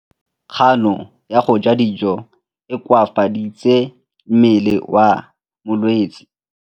Kganô ya go ja dijo e koafaditse mmele wa molwetse.